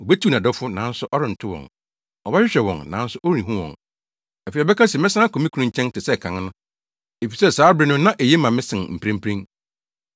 Obetiw nʼadɔfo, nanso ɔrento wɔn; ɔbɛhwehwɛ wɔn, nanso ɔrenhu wɔn. Afei, ɔbɛka se, ‘Mɛsan akɔ me kunu nkyɛn, te sɛ kan no, efisɛ, saa bere no na eye ma me sen mprempren.’